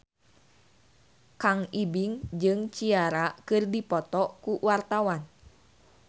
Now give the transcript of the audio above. Kang Ibing jeung Ciara keur dipoto ku wartawan